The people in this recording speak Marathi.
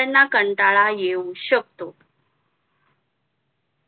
त्यांना कंटाळा येऊ शकतो